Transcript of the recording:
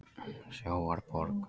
Sjávarborg